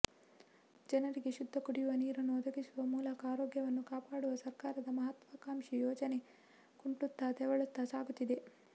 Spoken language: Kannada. ಜನರಿಗೆ ಶುದ್ದ ಕುಡಿಯುವ ನೀರನ್ನು ಒದಗಿಸುವ ಮೂಲಕ ಆರೋಗ್ಯವನ್ನು ಕಾಪಾಡುವ ಸರ್ಕಾರದ ಮಹತ್ವಾಕಾಂಕ್ಷಿ ಯೋಜನೆ ಕುಂಟುತ್ತಾ ತೆವಳುತ್ತಾ ಸಾಗುತ್ತಿದೆ